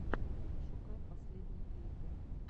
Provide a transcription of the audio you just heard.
пошукай последние клипы